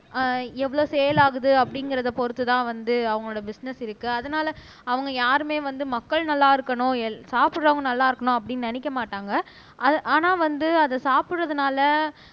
ஆஹ் எவ்வளவு சேல் ஆகுது அப்படிங்கறதை பொறுத்துதான் வந்து அவங்களோட பிஸ்னஸ் இருக்கு அதனால அவங்க யாருமே வந்து மக்கள் நல்லா இருக்கணும் சாப்பிடறவங்க நல்லா இருக்கணும் அப்படின்னு நினைக்க மாட்டாங்க ஆனா வந்து அதை சாப்பிடறதுனால